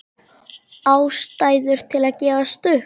Ástæður til að gefast upp?